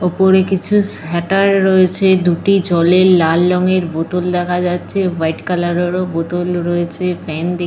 ওপরে কিছু সাটার রয়েছে। দুটি জলের লাল রঙের বোতল দেখা যাচ্ছে। হোয়াইট কালারের বোতল রয়েছে। ফ্যান দেখ --